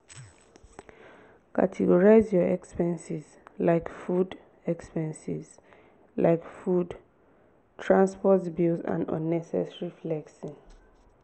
categorize your expenses like food expenses like food transport bills and unnecessary flexing.